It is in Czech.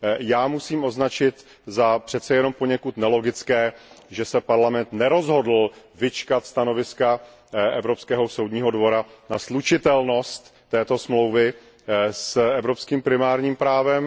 Já musím označit za přece jenom poněkud nelogické, že se Parlament nerozhodl počkat na stanovisko Evropského soudního dvora na slučitelnost této dohody s evropským primárním právem.